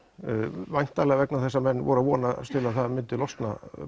væntanlega vegna þess að menn voru að vonast til að það myndi losna